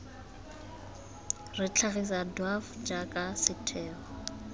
re tlhagisa dwaf jaaka setheo